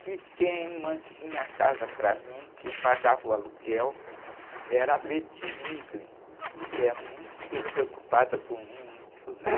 que quem mantinha a casa para mim, quem pagava o aluguel, era a, que é muito preocupada com índio, né?